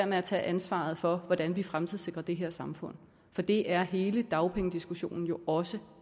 med at tage ansvaret for hvordan vi fremtidssikrer det her samfund for det er hele dagpengediskussionen jo også